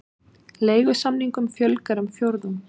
Leigusamningum fjölgar um fjórðung